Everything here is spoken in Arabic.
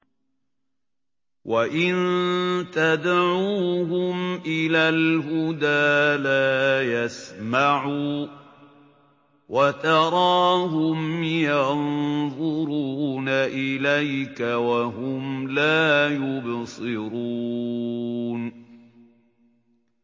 وَإِن تَدْعُوهُمْ إِلَى الْهُدَىٰ لَا يَسْمَعُوا ۖ وَتَرَاهُمْ يَنظُرُونَ إِلَيْكَ وَهُمْ لَا يُبْصِرُونَ